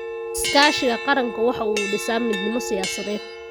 Iskaashiga qaranku waxa uu dhisaa midnimo siyaasadeed.